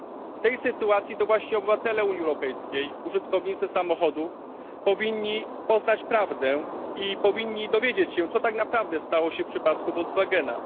W tej sytuacji to właśnie obywatele Unii Europejskiej użytkownicy samochodów powinni poznać prawdę i dowiedzieć się, co tak naprawdę stało się w przypadku Volkswagena.